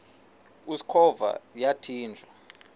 usikhova yathinjw a